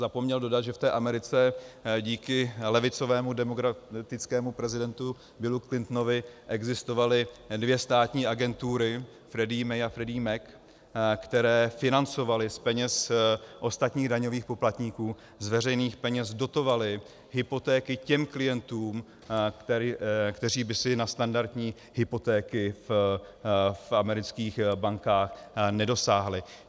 Zapomněl dodat, že v té Americe díky levicovému demokratickému prezidentu Billu Clintonovi existovaly dvě státní agentury, Fannie Mae a Freddie Mac, které financovaly z peněz ostatních daňových poplatníků, z veřejných peněz dotovaly hypotéky těm klientům, kteří by si na standardní hypotéky v amerických bankách nedosáhli.